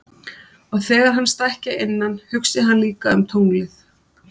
Og þegar hann stækki að innan hugsi hann líka um tunglið.